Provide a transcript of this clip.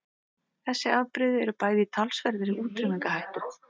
Þessi afbrigði eru bæði í talsverðri útrýmingarhættu.